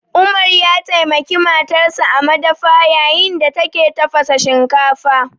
Umar ya taimaki matarsa a madafa yayin da take tafasa shinkafa